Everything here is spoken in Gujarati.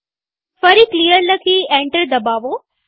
ફરી ક્લિયર લખી એન્ટર દબાવો